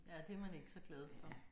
Ja det er man ikke så glad for